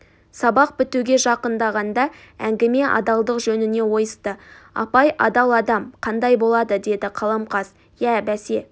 сабақ бітуге жақындағанда әңгіме адалдық жөніне ойысты апай адал адам қандай болады деді қаламқас иә бәсе